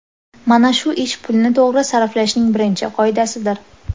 Mana shu ish pulni to‘g‘ri sarflashning birinchi qoidasidir.